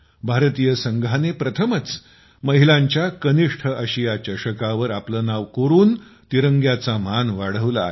भारतीय संघाने प्रथमच महिलांच्या कनिष्ठ आशिया चषकावर आपले नाव कोरून तिरंग्याचा मान वाढवला आहे